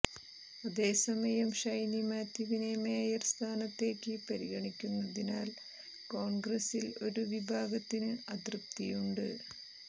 അതേസമയം ഷൈനി മാത്യുവിനെ മേയർ സ്ഥാനത്തേക്ക് പരിഗണിക്കുന്നതിൽ കോൺഗ്രസിൽ ഒരു വിഭാഗത്തിന് അതൃപ്തിയുണ്ട്